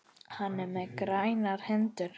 Hann er með grænar hendur.